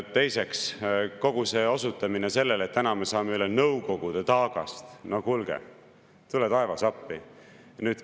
Teiseks, kogu see osutamine sellele, et täna me saame üle Nõukogude taagast – no kuulge, tule taevas appi!